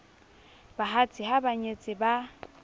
bahatsa ha ba nyetse ba